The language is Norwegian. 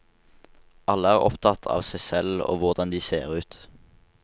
Alle er opptatt av seg selv og hvordan de ser ut.